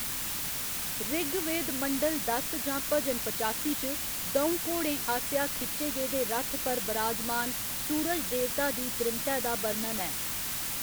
ऋगवेद मंडल दस जां भजन पचासी च, द'ऊं घोड़ें आसेआ खिच्चे गेदे रथ पर बराजमान सूरज देवता दी त्रीमतै दा बर्णन ऐ।